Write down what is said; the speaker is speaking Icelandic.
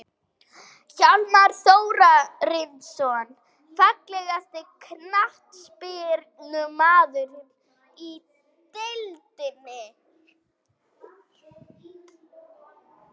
Hjálmar Þórarinsson Fallegasti knattspyrnumaðurinn í deildinni?